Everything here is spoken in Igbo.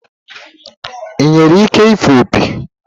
Ị nwere ike ịfụ opi?